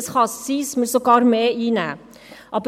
Es kann sogar sein, dass wir mehr einnehmen.